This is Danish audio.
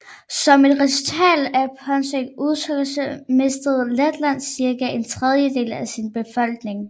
Som et resultat af påtænkt udryddelse mistede Letland cirka en tredjedel af sin befolkning